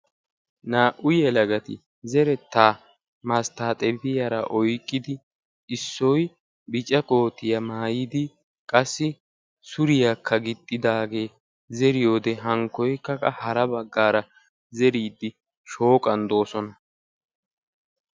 naa77u yelagati zerettaa masttaaxebiyaara oyqqidi issoy biica kootiyaa maayidi qassi suriyaakka gixxidaagee zeriyoode hankkoykkaa hara baggaara zeriiddi shooqan doosona.